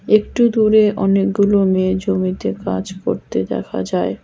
একটু দূরে অনেকগুলো মেয়ে জমিতে কাজ করতে দেখা যায়।